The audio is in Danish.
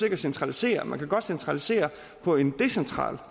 ikke centralisere man kan godt centralisere på en decentral